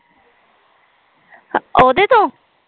ਉਹਦੇ ਤੋਂ